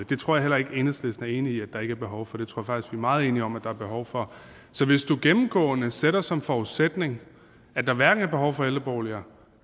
det tror jeg heller ikke at enhedslisten er enig i at der ikke er behov for det tror er meget enige om at der er behov for så hvis du gennemgående sætter som forudsætning at der hverken er behov for ældreboliger